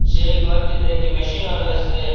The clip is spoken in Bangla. এই ঘরটিতে একটি মেশিনও রয়েছে।